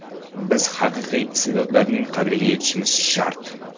Biz haqiqiy iste’dodlarning qadriga yetishimiz shart.